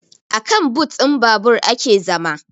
Akan but ɗin babur ake zama